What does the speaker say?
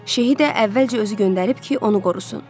Şeyxi də əvvəlcə özü göndərib ki, onu qorusun.